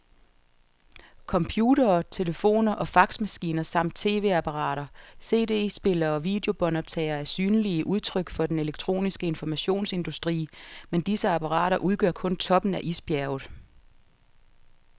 Computere, telefoner og faxmaskiner samt tv-apparater, cd-spillere og videobåndoptagere er synlige udtryk for den elektroniske informationsindustri, men disse apparater udgør kun toppen af isbjerget.